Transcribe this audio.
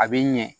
A bi ɲɛ